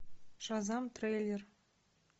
шазам трейлер